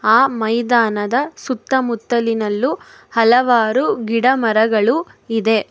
ಆ ಮೈದಾನದ ಸುತ್ತಮುತ್ತಲಿನಲ್ಲೂ ಹಲವಾರು ಗಿಡ ಮರಗಳು ಇದೆ.